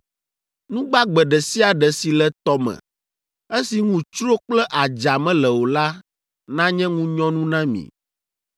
Nu gbagbe ɖe sia ɖe si le tɔ me, esi ŋu tsro kple adza mele o la nanye ŋunyɔnu na mi.